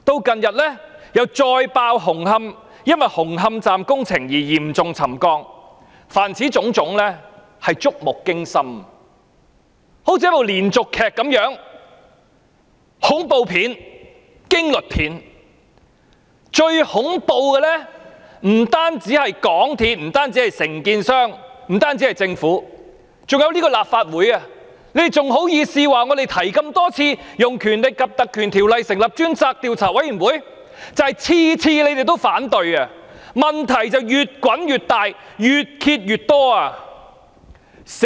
近日又再爆出紅磡站工程導致嚴重沉降事件，凡此種種均是觸目驚心，猶如連續劇一樣，又好像是恐怖片、驚慄片，而最恐怖的不單是港鐵公司、承建商和政府，還有這個立法會，你們還好意思指我們多次提出引用《立法會條例》成立專責委員會，這正正是因為每次你們都反對，才令問題越滾越大、越揭越多。